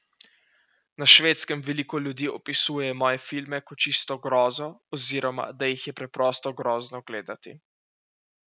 Na Švedskem veliko ljudi opisuje moje filme kot čisto grozo oziroma da jih je preprosto grozno gledati.